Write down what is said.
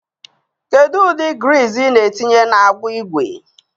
Kedu ụdị griiz ị na-etinye n'agbụ ígwè?